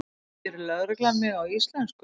spyr lögreglan mig á íslensku.